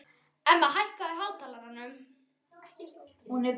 Emma, hækkaðu í hátalaranum.